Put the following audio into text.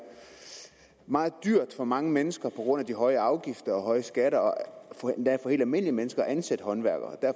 meget dyrt for mange mennesker på grund af de høje afgifter og høje skatter endda for helt almindelige mennesker at ansætte håndværkere